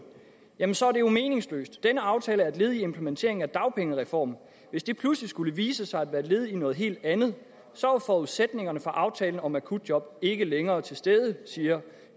jamen så er det jo meningsløst denne aftale er et led i implementeringen af dagpengereformen hvis det pludselig skulle vise sig at være led i noget helt andet så er forudsætningerne for aftalen om akutjob ikke længere til stede siger